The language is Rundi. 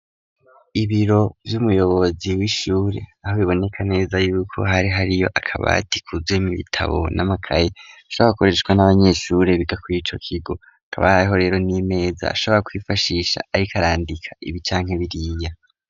Ibiro vy'umuyobozi w'ishuri, aho biboneka neza yuko hari hariyo akabati kuzeyemwo ibitabo n'amakayi, ashobora gukoreshwa n'abanyeshuri biga kurico kigo, hakaba hariho rero n'imeza ashobora kwifashisha ariko arandika ibi canke biriya.